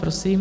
Prosím.